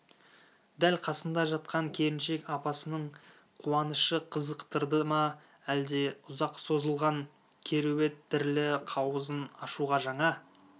дәл қасында жатқан келіншек апасының қуанышы қызықтырды ма әлде ұзақ созылған кереует дірілі қауызын ашуға жаңа